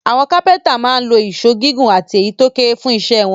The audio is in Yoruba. Àwọn kápẹ́ńtà máa ń lo ìṣó gígùn àti èyí tó kéré fún iṣẹ́ wọn.